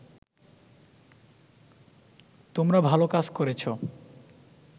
তোমরা ভালো কাজ করেছো